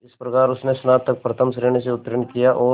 इस प्रकार उसने स्नातक प्रथम श्रेणी से उत्तीर्ण किया और